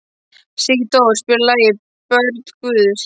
Sigdór, spilaðu lagið „Börn Guðs“.